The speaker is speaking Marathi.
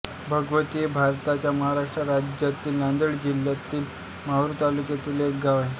भगवती हे भारताच्या महाराष्ट्र राज्यातील नांदेड जिल्ह्यातील माहूर तालुक्यातील एक गाव आहे